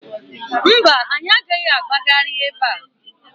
Mba, anyị agaghị agbagharị ebe a.